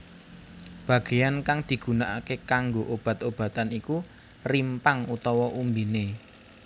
Bagean kang digunakake kanggo obat obatan iku rimpang utawa umbiné